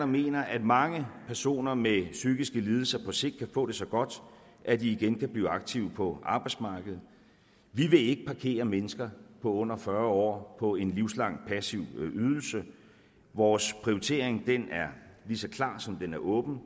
mener at mange personer med psykiske lidelser på sigt kan få det så godt at de igen kan blive aktive på arbejdsmarkedet vi vil ikke parkere mennesker under fyrre år på en livslang passiv ydelse vores prioritering er lige så klar som den er åben